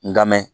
N ka mɛn